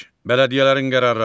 Bələdiyyələrin qərarları.